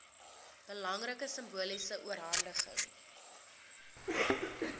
belangrike simboliese oorhandiging